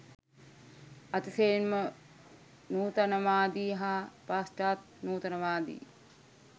අතිශයින්ම නූතනවාදී හා පශ්චාත් නූතනවාදී